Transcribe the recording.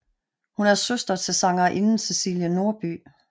Hun er søster til sangerinden Cæcilie Norby